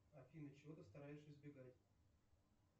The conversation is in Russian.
афина чего ты стараешься избегать